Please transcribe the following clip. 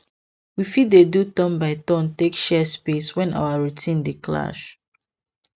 we fit dey do turn by turn take share space when our routines dey clash